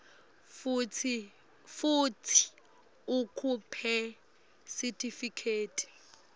futsi ukhiphe sitifiketi